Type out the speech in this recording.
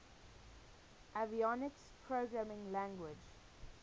avionics programming language